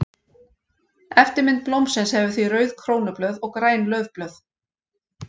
Eftirmynd blómsins hefur því rauð krónublöð og græn laufblöð.